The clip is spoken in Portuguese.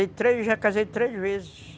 Eu já casei três vezes.